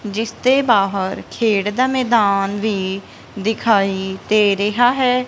ਜਿਸ ਦੇ ਬਾਹਰ ਖੇਡ ਦਾ ਮੈਦਾਨ ਵੀ ਦਿਖਾਈ ਦੇ ਰਿਹਾ ਹੈ।